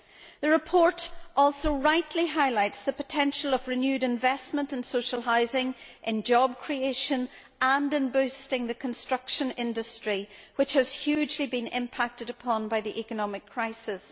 The report also rightly highlights the potential of renewed investment in social housing, in job creation and in boosting the construction industry, which has been hugely impacted upon by the economic crisis.